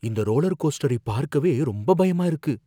இந்த ரோலர் கோஸ்டரைப் பார்க்கவே ரொம்ப பயமா இருக்கு